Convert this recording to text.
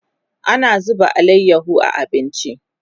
ana zuba alayaho a abinci